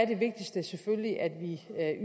det vigtigste selvfølgelig at vi